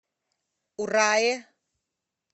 урае